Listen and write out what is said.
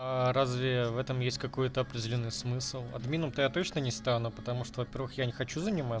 аа разве в этом есть какой-то определённый смысл админом то я точно ни стану потому что во-первых я не хочу занимат